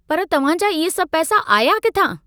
पर तव्हां जा इहे सभ पैसा आया किथां?